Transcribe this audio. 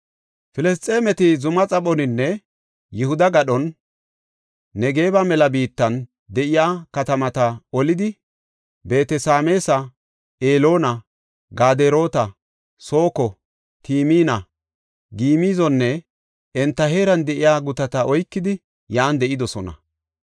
Filisxeemeti zuma xaphoninne Yihuda gadhan, Negebe mela biittan de7iya katamata olidi Beet-Sameesa, Eloona, Gaderoota, Sooko, Timina, Gimizonne enta heeran de7iya gutata oykidi yan de7idosona.